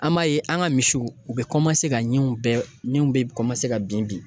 An b'a ye an ka misiw u bɛ ka min bɛɛ min ka bin bin